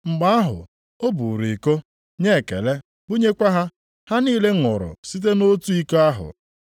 Mgbe ahụ, o buuru iko, nye ekele bunyekwa ha. Ha niile ṅụrụ site nʼotu iko ahụ.